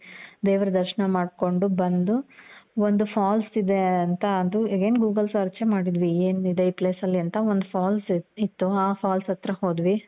ದೇವರ ದರ್ಶ್ನ ಮಾಡ್ಕೊಂಡು ಬಂದು, ಒಂದು falls ಇದೆ ಅಂತ ಅದು again google search ಮಾಡಿದ್ವಿ ಏನ್ ಇದೆ ಈ place ಅಲ್ಲಿ ಅಂತ ಒಂದು falls ಇತ್ತು. ಆ falls ಹತ್ರ ಹೋದ್ವಿ .